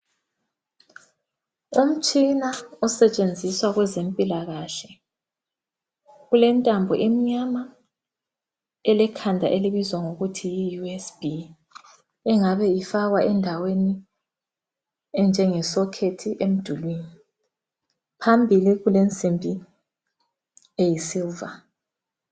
Umtshina osetshenziswa kwezempilakahle ulentambo emnyama elekhanda elibizwa ngokuthi USB engabe ifakwa endaweni enjenge sokhethi emdulwini phambili kulensimbi eyisiliva.